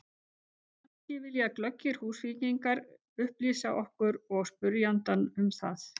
En kannski vilja glöggir Húsvíkingar upplýsa okkur og spyrjandann um það?